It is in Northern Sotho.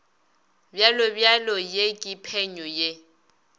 bjalobjalo ye ke phenyo ye